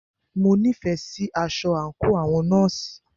Mo nífẹẹ sí aṣọ àńkò àwọn nọ́ọ̀sì.